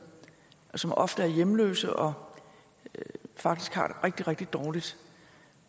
som ofte er hjemløse og faktisk har det rigtig rigtig dårligt